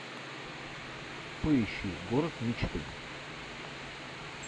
поищи город мечты